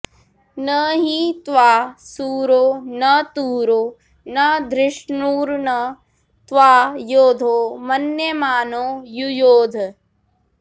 न॒हि त्वा॒ शूरो॒ न तु॒रो न धृ॒ष्णुर्न त्वा॑ यो॒धो मन्य॑मानो यु॒योध॑